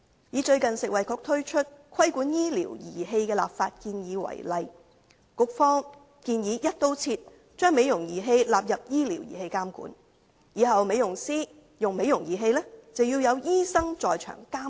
以最近食物及衞生局推出的"規管醫療儀器的立法建議"為例，局方建議"一刀切"將美容儀器納入為醫療儀器監管，日後美容師使用美容儀器，必須有醫生在場監督。